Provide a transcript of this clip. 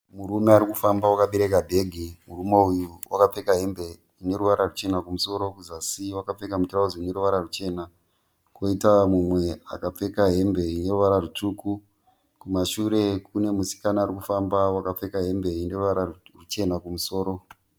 Murume arikufamba akabereka bhegi. Murume uyu wakapfeka hembe ine ruvara ruchena kumusoro kuzasi akapfeka mutirauzi uneruvara ruchena koita mumwe akapfeka hembe ineruvara rwutsvuku kumashure kune musikana arikufamba akapfeka hembe ine ruvara ruchena kumusoro.